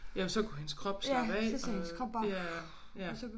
Ja for så kunne hendes krop slappe af og ja ja